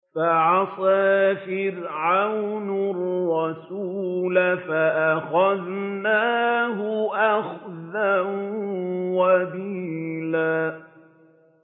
فَعَصَىٰ فِرْعَوْنُ الرَّسُولَ فَأَخَذْنَاهُ أَخْذًا وَبِيلًا